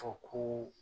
Fɔ ko